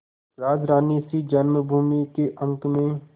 राजरानीसी जन्मभूमि के अंक में